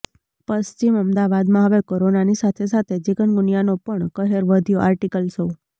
પશ્ચિમ અમદાવાદમા હવે કોરોનાની સાથે સાથે ચિકનગુનિયાનો પણ કહેર વધ્યો આર્ટિકલ શો